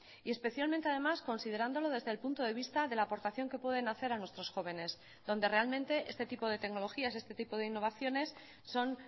y especialmente además considerándolo desde el punto de vista de la aportación que pueden hacer a nuestros jóvenes donde realmente este tipo de tecnologías este tipo de innovaciones son